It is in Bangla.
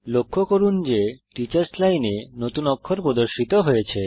লক্ষ্য করুন যে টিচার্স লাইন এ নতুন অক্ষর প্রদর্শিত হয়েছে